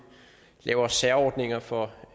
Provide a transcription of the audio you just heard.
laver særordninger for